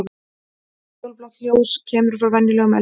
Ekkert útfjólublátt ljós kemur frá venjulegum eldi.